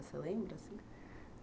Você lembra assim?